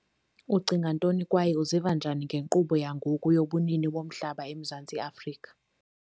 Ucinga ntoni kwaye uziva njani ngenkqubo yangoku yobunini bomhlaba eMzantsi Afrika?